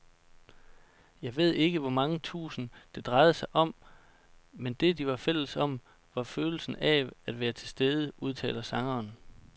Jeg ved ikke hvor mange tusind, det drejede sig om, men det, de var fælles om, var følelsen af at være tilstede, udtaler sangeren.